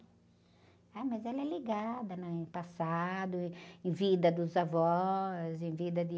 Ah, mas ela é ligada na, em passado, em vida dos avós, em vida de...